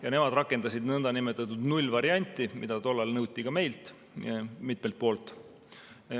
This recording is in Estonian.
Ja nemad rakendasid nõndanimetatud nullvarianti, mida tollal nõuti ka meil mitmelt poolt.